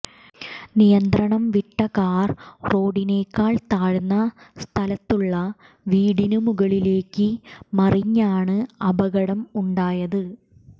നിയന്ത്രണം വിട്ട കാർ റോഡിനേക്കാൾ താഴ്ന്ന സ്ഥലത്തുള്ള വീടിന് മുകളിലേക്ക് മറിഞ്ഞാണ് അപകടം ഉണ്ടായത്